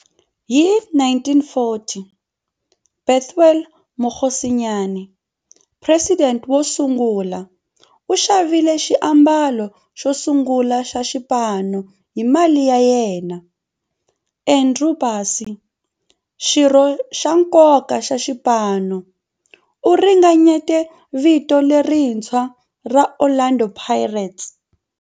Hi 1940, Bethuel Mokgosinyane, president wosungula, u xavile xiambalo xosungula xa xipano hi mali ya yena. Andrew Bassie, xirho xa nkoka xa xipano, u ringanyete vito lerintshwa ra 'Orlando Pirates'.